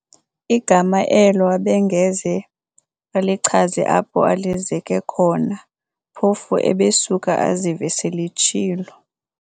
Igama elo abengeze alichaze apho alizeke khona, phofu ebesuka azive sel'etshilo.